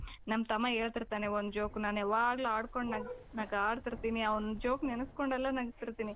ನಮ್ ತಮ್ಮ ಹೇಳ್ತಿರ್ತಾನೆ ಒಂದು joke ನಾನು ಯಾವಾಗಲು ಆಡ್ಕೊಂಡು ನಗಾಡ್ತಿರ್ತೀನಿ. ಅವನ joke ನೆನೆಸಿಕೊಂಡೆಲ್ಲಾ ನಗ್ತಿರ್ತೀನಿ